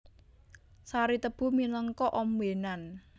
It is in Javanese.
Sari tebu minangka ombènan